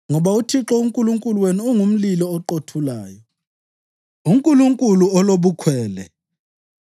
Ngoba uThixo uNkulunkulu wenu ungumlilo oqothulayo, uNkulunkulu olobukhwele.